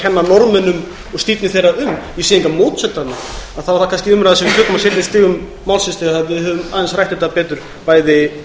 kenna norðmönnum og stífni þeirra um er það umræða sem við tökum á seinni stigum málsins þegar við höfum aðeins rætt þetta betur bæði